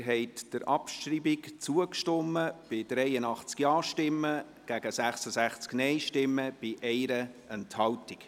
Sie haben der Abschreibung zugestimmt bei 83 Ja- zu 66 Nein-Stimmen bei 1 Enthaltung.